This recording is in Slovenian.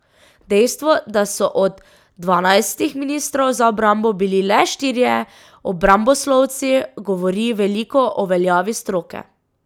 Dejstvo, da so od dvanajstih ministrov za obrambo bili le štirje obramboslovci, govori veliko o veljavi stroke.